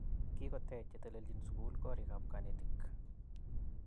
Kigotech chetelelchin sugul korigap konetik